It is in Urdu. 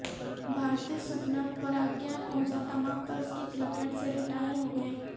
بھارتی سپنر پراگیان اوجھا تمام طرز کی کرکٹ سے ریٹائر ہوگئے